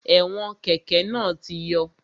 Ẹ̀wọn kẹ́kẹ̀ náà ti yọ